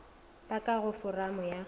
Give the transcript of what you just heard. ba ka go foramo ya